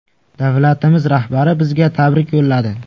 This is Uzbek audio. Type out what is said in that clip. Davlatimiz rahbari bizga tabrik yo‘lladi.